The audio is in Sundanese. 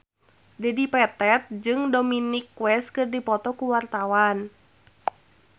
Dedi Petet jeung Dominic West keur dipoto ku wartawan